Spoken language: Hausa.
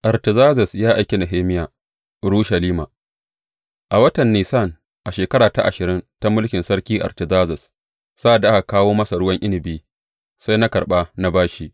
Artazerzes ya aiki Nehemiya Urushalima A watan Nisan a shekara ta ashirin ta mulkin Sarki Artazerzes, sa’ad aka kawo masa ruwan inabi, sai na karɓa na ba shi.